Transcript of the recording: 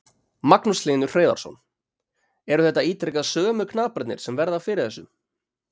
Magnús Hlynur Hreiðarsson: Eru þetta ítrekað sömu knaparnir sem verða fyrir þessu?